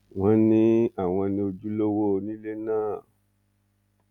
wọn ní àwọn ní ojúlówó onílé náà